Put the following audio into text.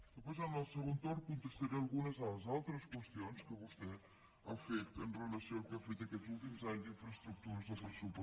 després en el segon torn contestaré algunes de les altres qüestions que vostè ha fet amb relació al que hem fet aquests últims anys d’infraestructures al pressupost